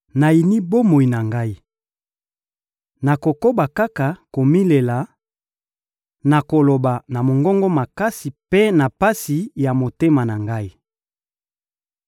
Nayini bomoi na ngai! Nakokoba kaka komilela, nakoloba na mongongo makasi mpe na pasi ya motema na ngai.